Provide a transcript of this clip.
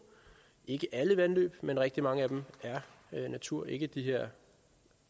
ikke alle vandløb men rigtig mange af dem er natur ikke de her